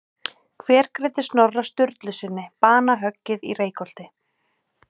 Hver greiddi Snorra Sturlusyni banahöggið í Reykholti?